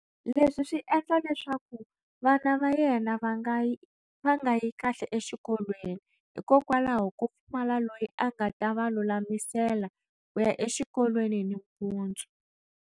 Leswi swi endla leswaku vana va yena va nga yi kahle exikolweni hikokwalaho ko pfumala loyi a nga ta va lulamisela ku ya exikolweni nimpundzu.